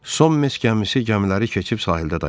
Son meş gəlməsi gəmiləri keçib sahildə dayandı.